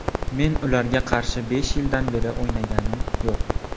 Men ularga qarshi besh yildan beri o‘ynaganim yo‘q.